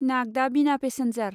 Nagda Bina passenger